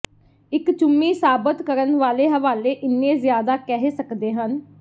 ਇੱਕ ਚੁੰਮੀ ਸਾਬਤ ਕਰਨ ਵਾਲੇ ਹਵਾਲੇ ਇੰਨੇ ਜ਼ਿਆਦਾ ਕਹਿ ਸਕਦੇ ਹਨ